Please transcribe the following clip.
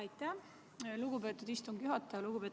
Aitäh, lugupeetud istungi juhataja!